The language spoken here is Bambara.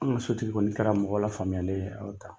An ka sotigi kɔni kɛra mɔgɔ la faamuyalen ye